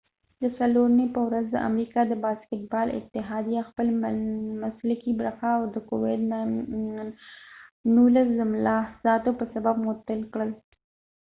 د څلورنی په ورځ د امریکا د باسکټ بال اتحادیه خپل مسلکې برخه د کوويد 19 د ملاحظاتو په سبب معطل کړ